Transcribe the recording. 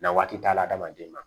Na waati t'a la adamaden ma